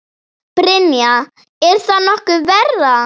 Brynja: Er það nokkuð verra?